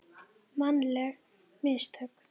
Mannleg mistök?